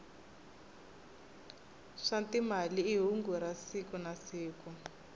swa timali i hungu ra siku nasiku